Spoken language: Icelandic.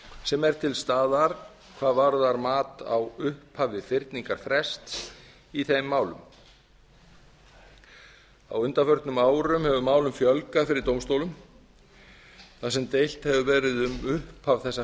sem er til staðar hvað varðar mat á upphafi fyrningarfrests í þeim málum á undanförnum árum hefur málum fjölgað fyrir dómstólum þar sem deilt hefur verið um upphaf þessa